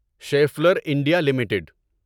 Scheffler India limited